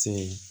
Ten